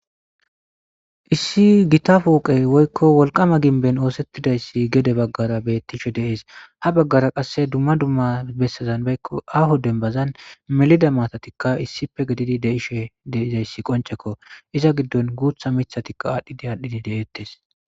issi gita fooqey woykko wolqama ginben oosettidayssi gede baggara bettishe deees ha baggara qasse dumma dumma bessazan beykko aho denbazan melida matatikka issippe gedidi deishe deizayssi qoncekko iza giddon guutha mithatikka aadhdhidi aadhdhidi deeettes